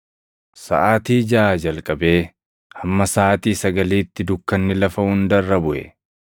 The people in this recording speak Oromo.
Saʼaatii jaʼaa jalqabee, hamma saʼaatii sagaliitti dukkanni lafa hunda irra buʼe.